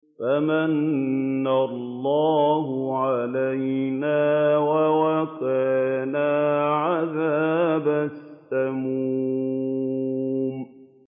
فَمَنَّ اللَّهُ عَلَيْنَا وَوَقَانَا عَذَابَ السَّمُومِ